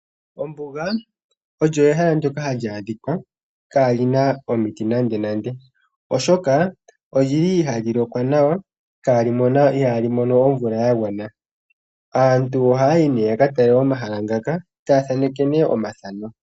Ombuga olyo ehala ndoka hali adhika kaalina omiti nandenande oshoka olyili hali lokwa nawa ano ihaa li mono omvula ya gwana ,aantu ohaa yi nee ya katale mohala ngaka taya thaaneke nee omathano.